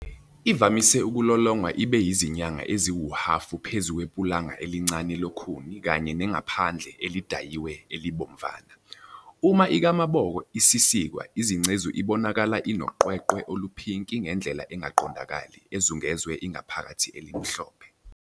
Ivamise ukulolongwa ibe yizinyanga eziwuhhafu phezu kwepulanga elincane lokhuni kanye nengaphandle elidayiwe elibomvana. Uma ikamaboko isisikwa izingcezu ibonakala inoqweqwe oluphinki ngendlela engaqondakali ezungeze ingaphakathi elimhlophe.